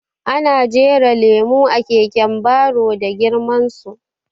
Ana jera lemo a keken baro da girman su